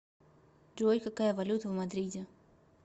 джой какая валюта в мадриде